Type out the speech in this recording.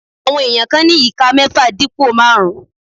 Àwọn èèyàn kan ní ìka mẹ́ẹ́fà dípò máàrún